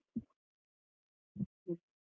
.